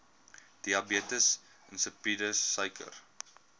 diabetes insipidus suiker